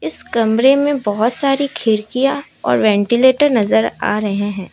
इस कमरे में बहोत सारी खिड़कियां और वेंटिलेटर नजर आ रहे हैं।